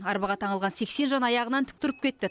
арбаға таңылған сексен жан аяғынан тік тұрып кетті